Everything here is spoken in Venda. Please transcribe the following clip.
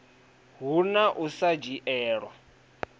hu na u sa dzhielwa